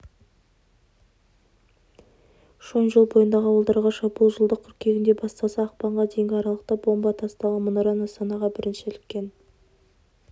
шойынжол бойындағы ауылдарға шабуыл жылдың қыркүйегінде басталса ақпанға дейінгі аралықта бомба тасталған мұнара нысанаға бірінші іліккен